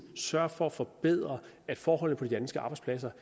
sørge for at forbedre forholdene på de danske arbejdspladser